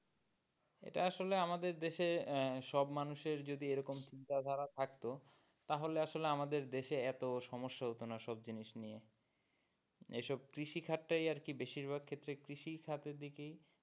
এটা আসলে আমাদের দেশে আহ সব মানুষদের যদি এরকম চিন্তা ধারা থাকতো তাহলে আসলে আমাদের দেশে এতো সমস্যা হতোনা সব জিনিস নিয়ে এসব কৃষি খাদ টাই আরকি বেশিরভাগ ক্ষেত্রে কৃষি খাদের দিকেই,